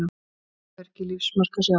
Hvergi lífsmark að sjá.